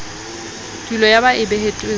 kotulo eo ba e behetsweng